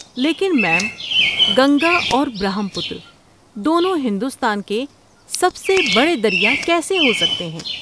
لیکن میم، گنگا اور برہم پتر دونوں ہندوستان کے سب سے بڑے دریا کیسے ہو سکتے ہیں؟